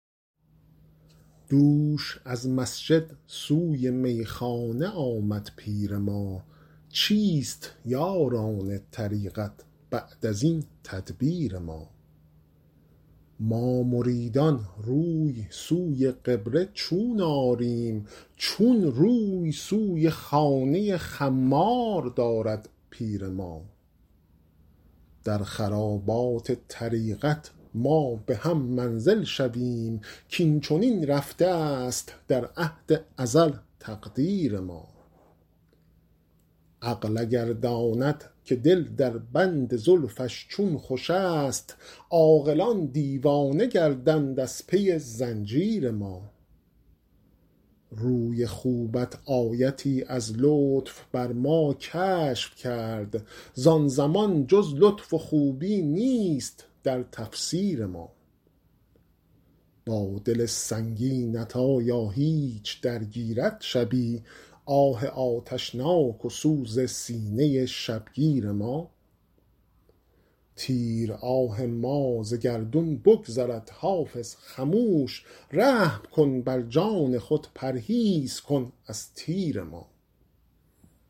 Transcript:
دوش از مسجد سوی میخانه آمد پیر ما چیست یاران طریقت بعد از این تدبیر ما ما مریدان روی سوی قبله چون آریم چون روی سوی خانه خمار دارد پیر ما در خرابات طریقت ما به هم منزل شویم کاین چنین رفته است در عهد ازل تقدیر ما عقل اگر داند که دل در بند زلفش چون خوش است عاقلان دیوانه گردند از پی زنجیر ما روی خوبت آیتی از لطف بر ما کشف کرد زان زمان جز لطف و خوبی نیست در تفسیر ما با دل سنگینت آیا هیچ درگیرد شبی آه آتشناک و سوز سینه شبگیر ما تیر آه ما ز گردون بگذرد حافظ خموش رحم کن بر جان خود پرهیز کن از تیر ما